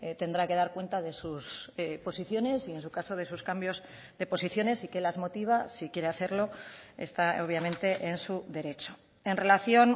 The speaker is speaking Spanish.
tendrá que dar cuenta de sus posiciones y en su caso de sus cambios de posiciones y qué las motiva si quiere hacerlo está obviamente en su derecho en relación